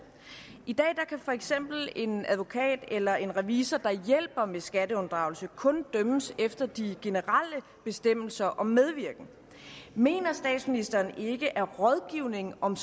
i dag kan for eksempel en advokat eller en revisor der hjælper med skatteunddragelse kun dømmes efter de generelle bestemmelser om medvirken mener statsministeren ikke at rådgivning om